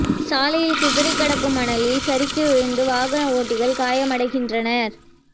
சாலையில் சிதறி கிடைக்கும் மணலில் சறுக்கி விழுந்து வாகன ஓட்டிகள் காயமடைகின்றனர்